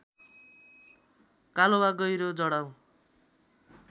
कालो वा गहिरो जडाउ